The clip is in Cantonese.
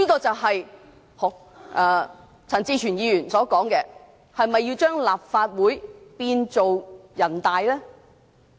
正如陳志全議員所說，是否要將立法會變成人大？